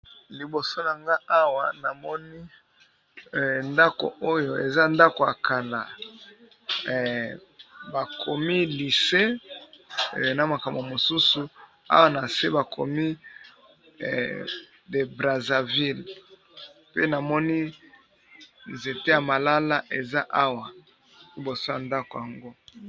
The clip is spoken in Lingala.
Liboso nanga awa, namoni ndako oyo eza ndako ya kala. Bakomi lise na makambo mosusu. Awa na se, bakomi de Brazzaville. Pe namoni nzete ya malala eza awa liboso ya ndako yango.